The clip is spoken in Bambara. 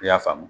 I y'a faamu